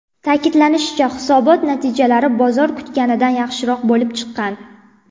Ta’kidlanishicha, hisobot natijalari bozor kutganidan yaxshiroq bo‘lib chiqqan.